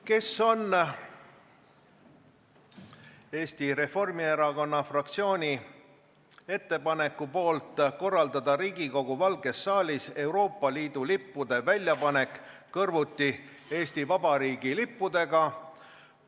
Kes on Eesti Reformierakonna fraktsiooni ettepaneku poolt korraldada Riigikogu Valges saalis Euroopa Liidu lippude väljapanek kõrvuti Eesti Vabariigi lippudega?